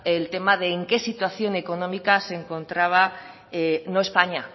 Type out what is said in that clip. el tema de en qué situación económica se encontraba no españa